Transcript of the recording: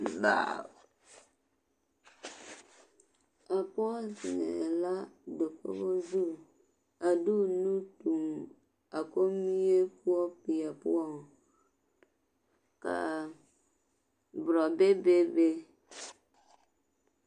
A pɔge zeŋɛɛ la dakogi zuŋ a de o nuu tuŋ a kommie poɔ peɛ poɔŋ ka a borɔbɛ bebe.